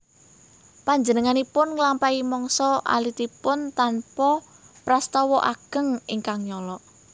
Panjenenganipun nglampahi mangsa alitipun tanpa prastawa ageng ingkang nyolok